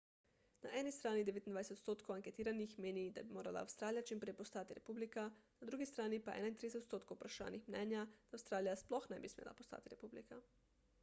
na eni strani 29 odstotkov anketiranih meni da bi morala avstralija čimprej postati republika na drugi strani pa je 31 odstotkov vprašanih mnenja da avstralija sploh ne bi smela postati republika